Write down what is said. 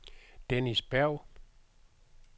Dennis Berg